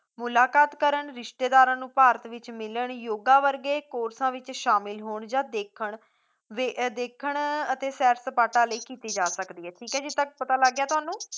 ਮੁਲਾਕਤ ਕਰਨ, ਰਿਸ਼ਤੇਦਾਰਾਂ ਨੂੰ ਭਾਰਤ ਵਿੱਚ ਮਿਲਣ, ਯੋਗਾਂ ਵਰਗੇ ਕੋਰਸਾਂ ਵਿੱਚ ਸ਼ਾਮਿਲ ਹੋਣ ਜਾਂ ਦੇਖਣ ਵੇ ਅਹ ਦੇਖਣ ਅਤੇ ਸੈਰ ਸਪਾਟਾ ਲਈ ਕੀਤੀ ਜਾ ਸਕਦੀ ਹੈ, ਠੀਕ ਹੈ ਜੀ ਇੱਥੇ ਤੱਕ ਪਤਾ ਲੱਗ ਗਿਆ ਤੁਹਾਨੂੰ